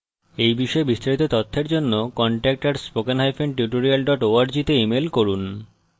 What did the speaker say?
এই বিষয়ে বিস্তারিত তথ্যের জন্য contact @spokentutorial org তে ইমেল করুন